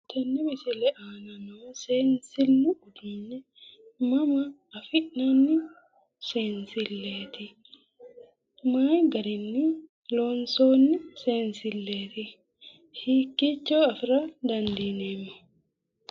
Tenne misile aana noo seensillu uduunni mama afi'nanni seensilleeti? Mayii garinni lonsoonni seensilleeti? Hikkiicho afira dandiineemmo?